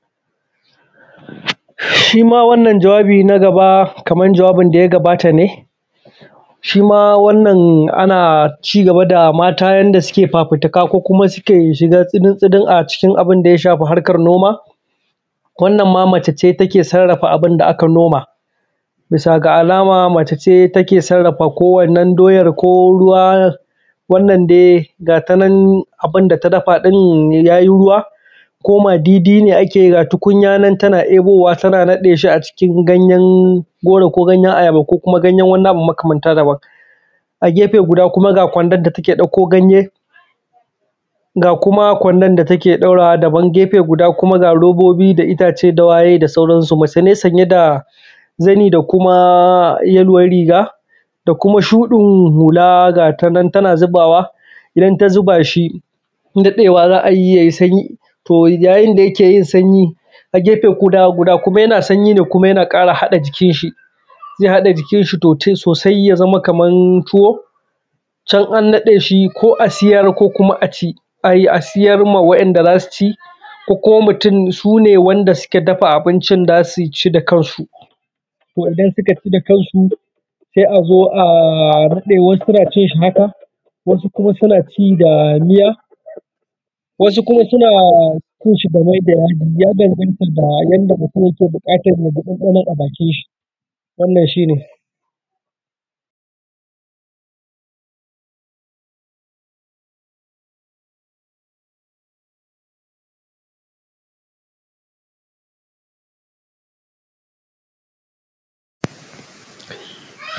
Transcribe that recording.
Shima wannan jawabi naga ba Kaman jawabi daya gabata ne. Shima wannan ana cigaba da mata yanda suke fafutuka ko kuma suke shiga tsinin tsinin a cikin abunda ya shafi harkar noma. Wannan ma mace ce take sarrafa abunda aka noma bisa ga alama mace ce take sarrafa ko wannan doyan ko ruwa wannan dai abunda ta dafa ɗin yayi ruwa ko madidi ne akeyi ga tukunya nan tana ebowa tana naɗeshi gayen goro ko gayen ayaba ko kuma gayen abu makamanta daban. A gefe guda kuma ga kwandon da take ɗauko ganye ga kuma kwadon da take ɗaurawa kuma daban, gefe guda kuma ga rorobi da ittace da wayw da sauran su. Mace ne sanye da zani da kuma yaluwan riga da shuɗin hula gashinan tana zubawa, idan ta zubashi naɗewa za’ayi yai sanyi to ya yinda yakeyin sanyi a gefe guɗa kuma yana sanyi ne kuma yana ƙara haɗa jikin shi. Zai haɗa jikin shi sosai sosai yazama Kaman tuwo can a naɗeshi ko a siyar ko kuma aci. A siyar waɗan da zasuci ko kuma mutun sune wanda suka dafa zasuci da kansu, wanda sukaci da kansu sai azo a rufe wasu naci haka wasu kuma sunaci da miya wasu kuna cinshi da mai da yaji ya danganta da yanda mutun yake buƙatan yaji ɗan ɗano daga bakin shi wannan shine.